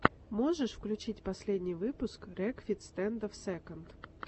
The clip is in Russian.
можешь включить последний выпуск рекфиц стэндофф сэконд